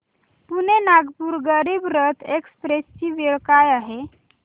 Pune Nagpur Garib Rath express ची वेळ काय आहे